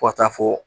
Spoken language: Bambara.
Fo ka taa fɔ